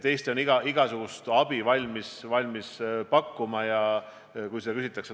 Eesti on igasugust abi valmis pakkuma, kui seda küsitakse.